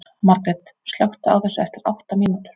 Margret, slökktu á þessu eftir átta mínútur.